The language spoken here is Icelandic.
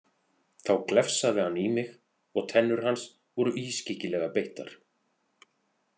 Þá glefsaði hann í mig og tennur hans voru ískyggilega beittar.